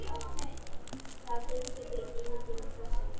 Það fylgir því engin pressa.